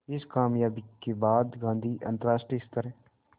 इस क़ामयाबी के बाद गांधी अंतरराष्ट्रीय स्तर